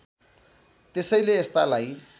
त्यसैले यस्तालाई